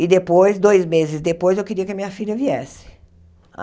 E depois, dois meses depois, eu queria que a minha filha viesse.